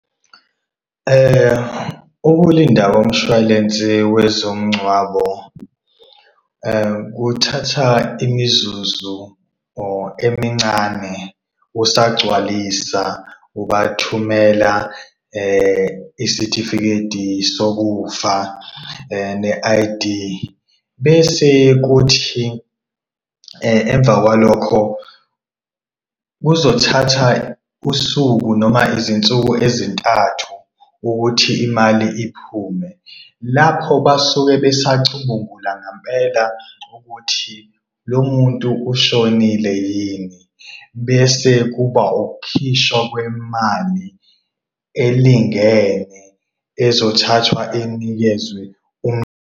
Ukulinda komshwalensi wezomngcwabo kuthatha imizuzu or emincane usagcwalisa ubathumela isitifiketi sokufa ne-I_D, bese kuthi emva kwalokho kuzothatha usuku noma izinsuku ezintathu ukuthi imali iphume. Lapho basuke besacubungula ngampela ukuthi lo muntu ushonile yini. Bese kuba okukhishwa kwemali elingene ezothathwa inikezwe .